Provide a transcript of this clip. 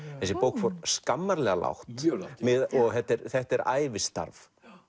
þessi bók fór skammarlega lágt mjög lágt og þetta er þetta er ævistarf